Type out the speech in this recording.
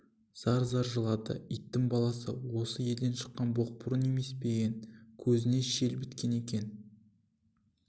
зар-зар жылады иттің баласы осы елден шыққан боқмұрын емес пе ең көзіңе шел біткен екен